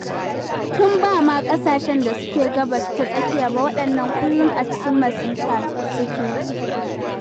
Tun ba ma ƙasashen da suke Gabas ta Tsakiya ba, waɗannan kullum a cikin masifa suke.